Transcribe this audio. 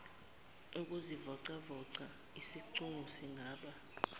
ukuzivocavoca izicubu zingaba